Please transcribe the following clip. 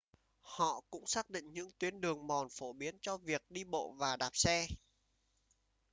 họ cũng xác định những tuyến đường mòn phổ biến cho việc đi bộ và đạp xe